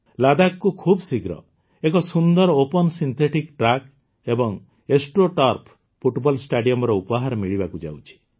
ଲଦାଖକୁ ଖୁବଶୀଘ୍ର ଏକ ସୁନ୍ଦର ଓପନ୍ ସିନ୍ଥେଟିକ୍ ଟ୍ରାକ୍ ଏବଂ ଏଷ୍ଟ୍ରୋ ଟର୍ଫ ଫୁଟବଲ ଷ୍ଟାଡିୟମର ଉପହାର ମିଳିବାକୁ ଯାଉଛି